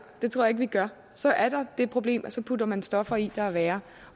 det tror jeg ikke vi gør så er der det problem at så putter man stoffer i der er værre